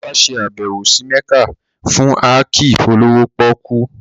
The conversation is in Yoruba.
Olá ṣe àbẹ̀wò sí Mẹ́kà fún áàkì olówó pọ́kú